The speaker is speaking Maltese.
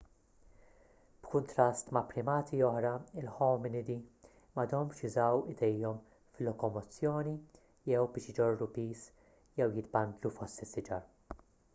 b'kuntrast ma' primati oħra il-ħominidi m'għadhomx jużaw idejhom fil-lokomozzjoni jew biex iġorru piż jew jitbandlu fost is-siġar